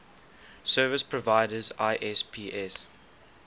service providers isps